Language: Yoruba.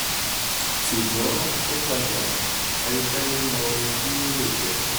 sugbon o pada ẹnikẹni mọ ohun ti o le jẹ?